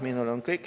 Minul on kõik.